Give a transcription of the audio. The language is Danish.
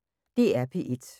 DR P1